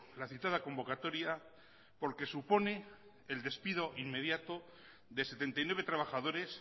la citada convocatoria porque supone el despido inmediato de setenta y nueve trabajadores